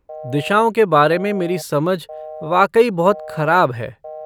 दिशाओं के बारे में मेरी समझ वाकई बहुत खराब है।